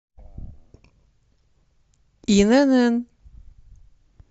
инн